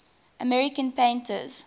american painters